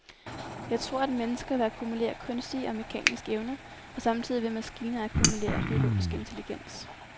Jeg tror, mennesker vil akkumulere kunstige og mekaniske evner, og samtidig vil maskiner akkumulere biologisk intelligens.